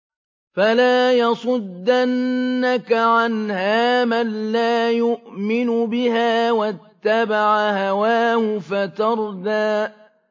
فَلَا يَصُدَّنَّكَ عَنْهَا مَن لَّا يُؤْمِنُ بِهَا وَاتَّبَعَ هَوَاهُ فَتَرْدَىٰ